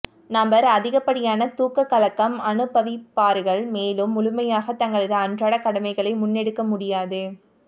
நபர் அதிகப்படியான தூக்கக் கலக்கம் அனுபவிப்பார்கள் மேலும் முழுமையாக தங்களது அன்றாட கடமைகளை முன்னெடுக்க முடியாது